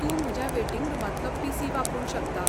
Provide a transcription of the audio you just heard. तूं म्हज्या वेटिंग रुमांतलो पी.सी. वापरूंक शकता.